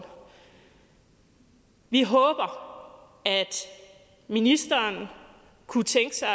vi håber at ministeren kunne tænke sig